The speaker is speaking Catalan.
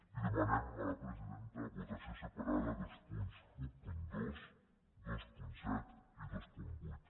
i demanem a la presidenta votació separada dels punts dotze vint set i vint vuit